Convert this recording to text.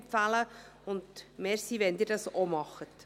Vielen Dank, wenn Sie dies auch tun.